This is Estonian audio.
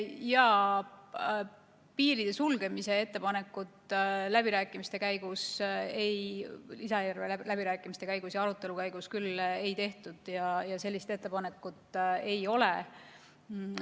Piiride sulgemise ettepanekut lisaeelarve läbirääkimiste ja arutelu käigus küll ei tehtud, sellist ettepanekut ei ole.